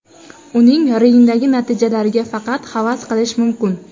Uning ringdagi natijalariga faqat havas qilish mumkin.